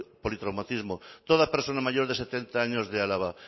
politraumatismo toda persona mayor de setenta años de álava